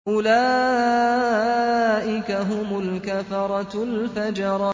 أُولَٰئِكَ هُمُ الْكَفَرَةُ الْفَجَرَةُ